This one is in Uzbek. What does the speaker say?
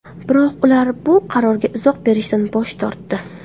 Biroq ular bu qarorga izoh berishdan bosh tortdi.